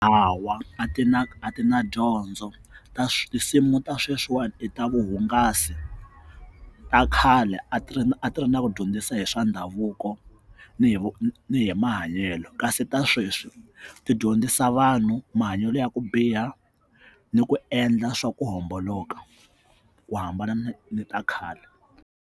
Hawa a ti na a ti na dyondzo ta tinsimu ta sweswiwani i ta vuhungasi ta khale a ti ri a ti ri na ku dyondzisa hi swa ndhavuko ni hi ni hi vu mahanyelo kasi ta sweswi tidyondzisa vanhu mahanyelo ya ku biha ni ku endla swa ku homboloka ku hambana ni ni ta khale.